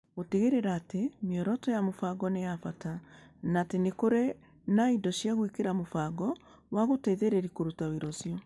Gũtigĩrĩra atĩ mĩoroto ya mũbango nĩ ya bata, na atĩ nĩ kũrĩ na indo cia gwĩkĩra mũbango wa gũteithĩrĩria kũruta wĩra ũcio.